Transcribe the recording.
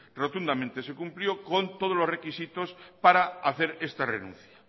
rotundamente se cumplió con todos los requisitos para hacer esta renuncia